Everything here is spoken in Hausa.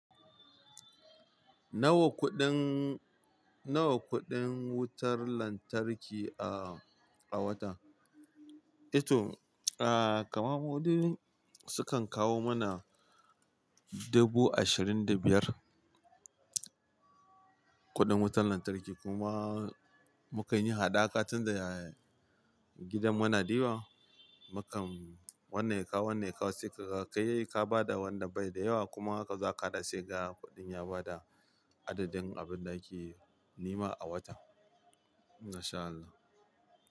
Nawa kuɗin, nawa kuɗin wutar lantarki a, a wata? Eh to kaman ma dai sukan kawo mana dubu ashirin da biyar kuɗin wutar lantarki kuma mukan yi haɗaka tunda gidan muna da yawa. Mukan wannan ya ka kawo, wannan ya kawo sai ka ga kai ka ba da wanda bai da yawa kuma aka zo aka haɗa sai kaga kuɗin ya bada adadin abin da ake nema a wata. Masha Allah.